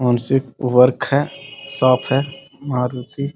मानसिक वर्क है शॉप है मारुती --